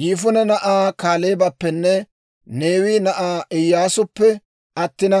Yifune na'aa Kaaleebappenne Neewe na'aa Iyyaasuppe attina,